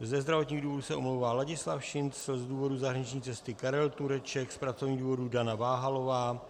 Ze zdravotních důvodů se omlouvá Ladislav Šincl, z důvodu zahraniční cesty Karel Tureček, z pracovních důvodů Dana Váhalová,